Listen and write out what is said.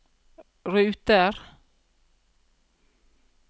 ruter